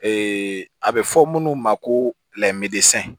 a bɛ fɔ munnu ma ko